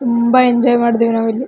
ತುಂಬಾ ಎಂಜಾಯ್ ಮಾಡಿದ್ವಿ ನಾವ್ ಇಲ್ಲಿ .